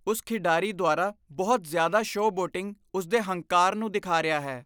ਉਸ ਖਿਡਾਰੀ ਦੁਆਰਾ ਬਹੁਤ ਜ਼ਿਆਦਾ ਸ਼ੋਅਬੋਟਿੰਗ ਉਸਦੇ ਹੰਕਾਰ ਨੂੰ ਦਿਖਾ ਰਿਹਾ ਹੈ।